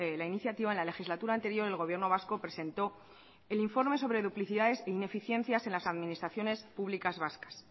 la iniciativa en la legislatura anterior el gobierno vasco presentó el informe sobre duplicidades e ineficiencias en las administraciones públicas vascas